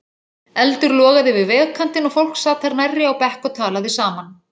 Eldur logaði við vegkantinn og fólk sat þar nærri á bekk og talaði saman.